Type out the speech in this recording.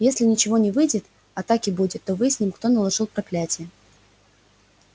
если ничего не выйдет а так и будет то выясним кто наложил проклятие